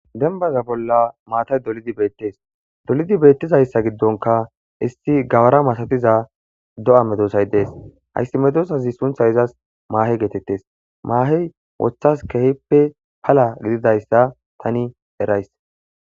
Denbaza bolla maatay dolidi beettes. Dolidi beettizayssa giddonka issi gawara masatiza do7a medoosay dees. Hayssi medoosazi sunthay izas maahe geetettes. Maahey wothas keehippe pala gididayssa tani erays.